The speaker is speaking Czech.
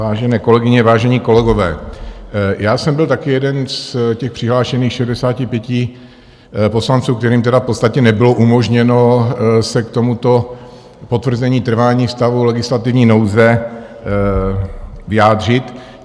Vážené kolegyně, vážení kolegové, já jsem byl taky jeden z těch přihlášených 65 poslanců, kterým tedy v podstatě nebylo umožněno se k tomuto potvrzení trvání stavu legislativní nouze vyjádřit.